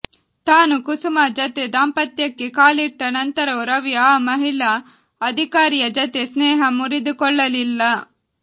ತಾನು ಕುಸುಮಾ ಜತೆ ದಾಂಪತ್ಯಕ್ಕೆ ಕಾಲಿಟ್ಟ ನಂತರವೂ ರವಿ ಆ ಮಹಿಳಾ ಅಧಿಕಾರಿಯ ಜತೆ ಸ್ನೇಹ ಮುರಿದುಕೊಳ್ಳಲಿಲ್ಲ